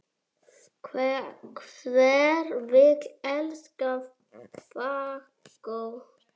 Hver vill elska fagott?